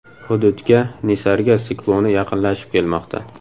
Hududga Nisarga sikloni yaqinlashib kelmoqda.